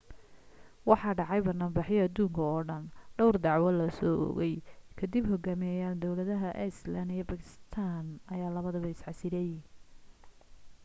waxaa dhacay banaan baxyo aduunka oo dhan dhawr dacwo la soo oogay ka dib na hogaamiyeyaalka dawladaha iceland iyo bakistan ayaa labadaba is casilay